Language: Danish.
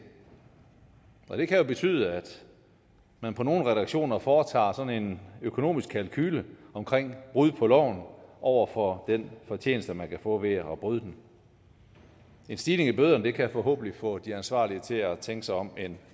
det kan jo betyde at man på nogle redaktioner foretager sådan en økonomisk kalkule omkring brud på loven over for den fortjeneste man kan få ved at bryde den en stigning i bøderne kan forhåbentlig få de ansvarlige til at tænke sig om en